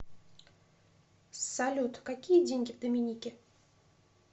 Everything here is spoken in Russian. салют какие деньги в доминике